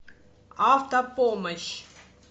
автопомощь